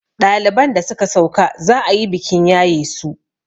ɗaliban da suka sauka za a yi bikin yaye su